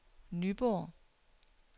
Nyborg